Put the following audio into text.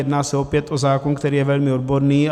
Jedná se opět o zákon, který je velmi odborný.